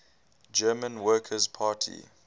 german workers party